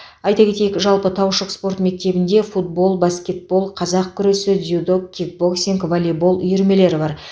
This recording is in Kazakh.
айта кетейік жалпы таушық спорт мектебінде футбол баскетбол қазақ күресі дзюдо кикбоксинг волейбол үйірмелері бар